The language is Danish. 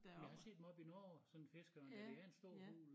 Men jeg har set dem oppe i Norge sådan en fiskeørn dér det er en stor fugl